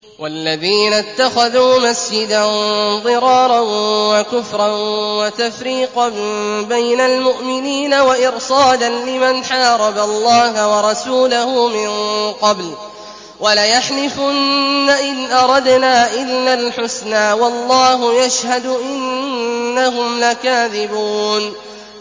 وَالَّذِينَ اتَّخَذُوا مَسْجِدًا ضِرَارًا وَكُفْرًا وَتَفْرِيقًا بَيْنَ الْمُؤْمِنِينَ وَإِرْصَادًا لِّمَنْ حَارَبَ اللَّهَ وَرَسُولَهُ مِن قَبْلُ ۚ وَلَيَحْلِفُنَّ إِنْ أَرَدْنَا إِلَّا الْحُسْنَىٰ ۖ وَاللَّهُ يَشْهَدُ إِنَّهُمْ لَكَاذِبُونَ